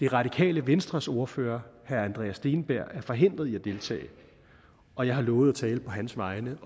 det radikale venstres ordfører herre andreas steenberg er forhindret i at deltage og jeg har lovet at tale på hans vegne